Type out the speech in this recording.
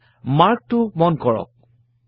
ইয়াত mark টো মন কৰক